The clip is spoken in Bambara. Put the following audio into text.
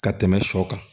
Ka tɛmɛ sɔ kan